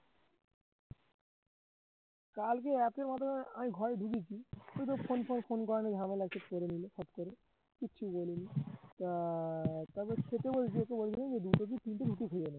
কালকে এসে মাত্র আমি ঘরে ঢুকেছি তুই তো ফোন করা নিয়ে ঝামেলা শেষ করে দিলি করে কিচ্ছু বলিনি আহ তারপর ছোট দুটো কি তিনটে